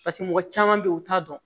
Paseke mɔgɔ caman bɛ ye u t'a dɔn